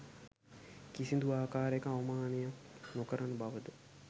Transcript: කිසිදු ආකාරයක අවමානයක් නොකරන බවද